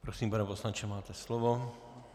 Prosím, pane poslanče, máte slovo.